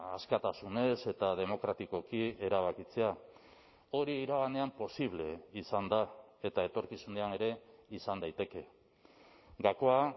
askatasunez eta demokratikoki erabakitzea hori iraganean posible izan da eta etorkizunean ere izan daiteke gakoa